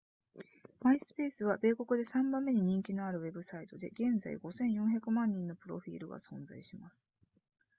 myspace は米国で3番目に人気のあるウェブサイトで現在5千4百万人のプロフィールが存在します